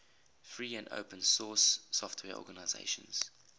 free and open source software organizations